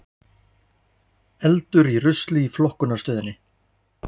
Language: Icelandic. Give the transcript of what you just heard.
Eldur í rusli í flokkunarstöðinni